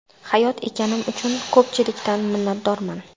Hayot ekanim uchun ko‘pchilikdan minnatdorman.